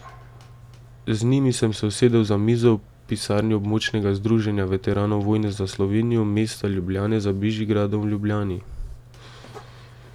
Z njimi sem se usedel za mizo v pisarni Območnega združenja veteranov vojne za Slovenijo mesta Ljubljane za Bežigradom v Ljubljani.